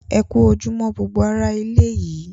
Ẹ ku ojúmọ̀ gbogbo èyin ará ilẹ̀ yìí